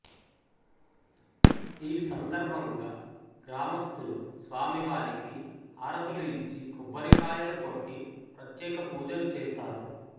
ఈ సందర్భంగా గ్రామస్థులు స్వామివారికి హారతులు ఇచ్చి కొబ్బరికాయలు కొట్టి ప్రత్యేక పూజలు చేస్తారు